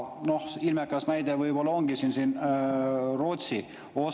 Ilmekas näide on siin võib-olla Rootsi.